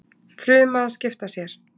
Fruma að skipta sér.